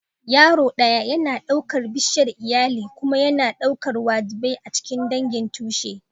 Yaro ɗaya yana ɗaukar bishiyar iyali kuma yana ɗaukar wajibai a cikin dangin tushe.